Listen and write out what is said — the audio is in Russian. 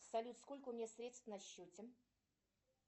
салют сколько у меня средств на счете